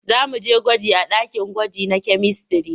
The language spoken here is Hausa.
Za mu je gwaji a akin gwaji na kyamistare.